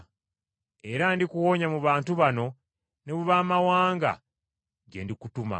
Era ndikuwonya mu bantu bano ne mu baamawanga gye ndikutuma